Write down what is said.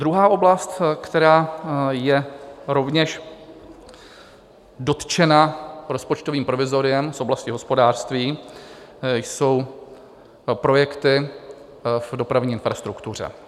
Druhá oblast, která je rovněž dotčena rozpočtovým provizoriem v oblasti hospodářství, jsou projekty v dopravní infrastruktuře.